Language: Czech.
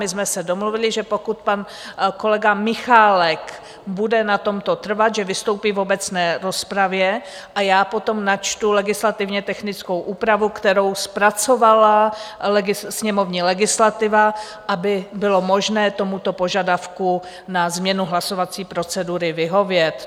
My jsme se domluvili, že pokud pan kolega Michálek bude na tomto trvat, že vystoupí v obecné rozpravě a já potom načtu legislativně technickou úpravu, kterou zpracovala sněmovní legislativa, aby bylo možné tomuto požadavku na změnu hlasovací procedury vyhovět.